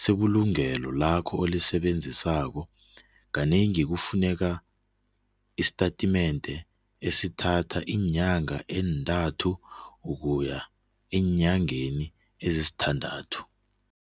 sebulungelo lakho olisebenzisako kanengi kufuneka isitatimende esithathwa iinyanga ezintathu ukuya eenyangeni ezisithandathu.